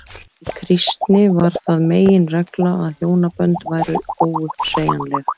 í kristni varð það meginregla að hjónabönd væru óuppsegjanleg